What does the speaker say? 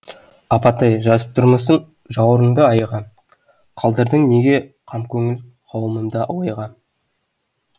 апатай жазып тұрмысың жауырынды айға қалдырдың неге қамкөңіл қауымымды ойға